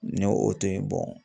N ye o to yen